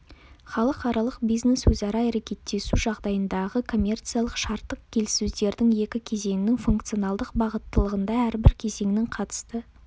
халықаралық бизнес-өзара әрекеттесу жағдайындағы коммерциялық-шарттық келіссөздердің екі кезеңінің функционалдық бағыттылығында әрбір кезеңнің қатысты